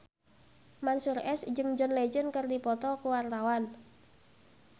Mansyur S jeung John Legend keur dipoto ku wartawan